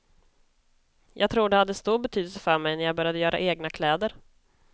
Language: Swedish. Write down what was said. Jag tror det hade stor betydelse för mig när jag började göra egna kläder.